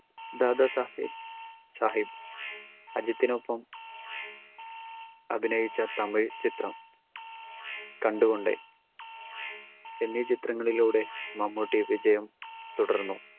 ദാദാസാഹിബ് സാഹിബ് അജിത്തിനൊപ്പം അഭിനയിച്ച തമിഴ് ചിത്രം കണ്ടുകൊണ്ടേൻ എന്നീ ചിത്രങ്ങളിലൂടെ മമ്മൂട്ടി വിജയം തുടർന്നു